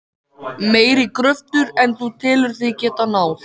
Meiri kröfur en þú telur þig geta náð?